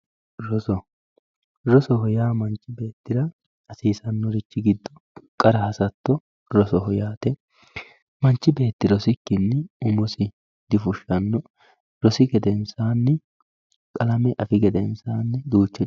Roso rosoho yaa manchi beetira hasisanoho giddo qarra hasato rosoho yaate manchi beeti rosikini umosi difushano rosi gedensani qalame afi gedensani.